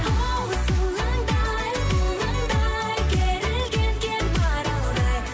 хоу сылаңдай бұлаңдай керілген кер маралдай